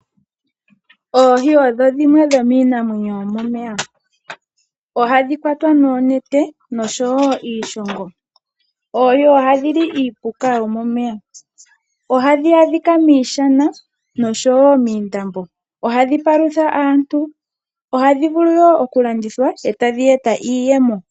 Oohi odho dhimwe dhomiinamwenyo yomomeya, ohadhi kwatwa noonete nosho wo iishongo. Oohi ohadhi li iipuka yomomeya. Ohadhi adhika miishana nosho wo miindambo. Ohadhi palutha aantu, ohadhi vulu wo okulandithwa etadhi eta iiyemo.